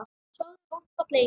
Sofðu rótt fallegi engill.